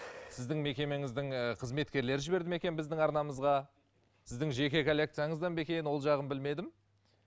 сіздің мекемеңіздің і қызметкерлері жіберді ме екен біздің арнамызға сіздің жеке коллекцияңыздан ба екен ол жағын білмедім